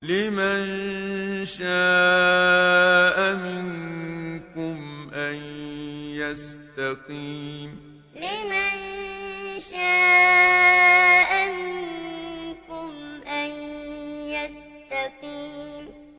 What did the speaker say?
لِمَن شَاءَ مِنكُمْ أَن يَسْتَقِيمَ لِمَن شَاءَ مِنكُمْ أَن يَسْتَقِيمَ